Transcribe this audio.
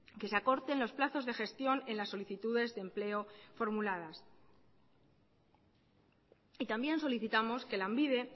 que se acorten los plazos de gestión en las solicitudes de empleo formuladas y también solicitamos que lanbide